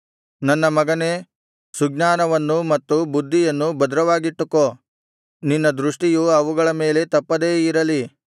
ನನ್ನ ಮಗನೇ ಸುಜ್ಞಾನವನ್ನೂ ಮತ್ತು ಬುದ್ಧಿಯನ್ನೂ ಭದ್ರವಾಗಿಟ್ಟುಕೋ ನಿನ್ನ ದೃಷ್ಟಿಯು ಅವುಗಳ ಮೇಲೆ ತಪ್ಪದೇ ಇರಲಿ